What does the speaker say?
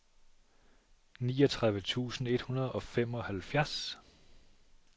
niogtredive tusind et hundrede og femoghalvfjerds